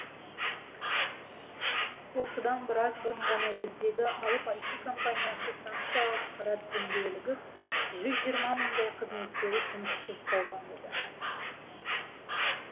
осыдан біраз бұрын ғана елдегі алып іт компаниясы санкциялық қара тізімге ілігіп жүз жиырма мыңдай қызметкері жұмыссыз қалған еді